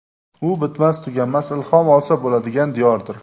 U bitmas-tuganmas ilhom olsa bo‘ladigan diyordir.